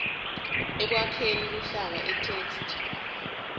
ekwakheni luhlaka itheksthi